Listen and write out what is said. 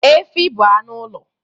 Efi bụ anụ ụlọ